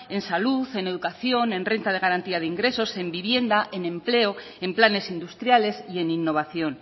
en salud en educación en renta de garantía de ingresos en vivienda en empleo en planes industriales y en innovación